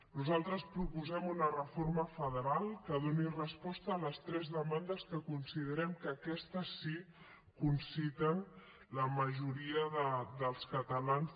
nosaltres proposem una reforma federal que doni resposta a les tres demandes que considerem que aquestes sí conciten la majoria dels catalans